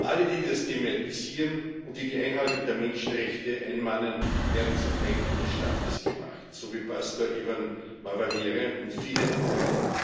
Alle, die das thematisieren und die die Einhaltung der Menschenrechte einmahnen, werden zu Feinden des Staates gemacht, so wie Pastor Evan Mawarire und viele andere.